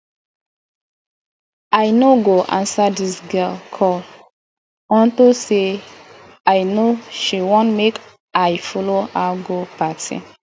i no go answer dis girl call unto say i no she wan make i follow her go party